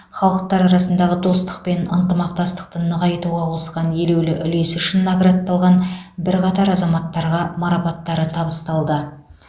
халықтар арасындағы достық пен ынтымақтастықты нығайтуға қосқан елеулі үлесі үшін наградталған бірқатар азаматтарға марапаттары табысталды